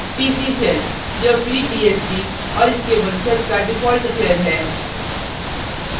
tc shell यह freebsd और इसके वंशज का default shell है